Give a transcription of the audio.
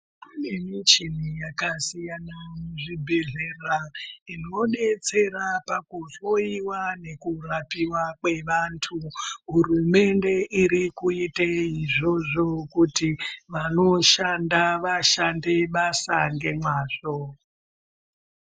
Kune muchini yaka siyana mu zvibhedhlera ino detsera paku hloyiwa neku rapiwa kwe vantu hurumende iri kuite izvozvo kuti vano shanda vashande basa nge mwazvo.